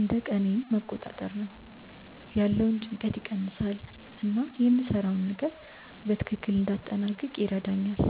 እንደ ቀኔን መቆጣጠር ነው፤ ያለውን ጭንቀት ይቀንሳል እና የምሰራውን ነገር በትክክል እንዲያጠናቅቅ ይረዳኛል።